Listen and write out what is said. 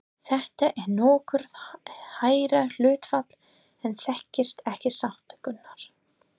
Þetta er nokkuð hærra hlutfall en þekkist ekki satt, Gunnar?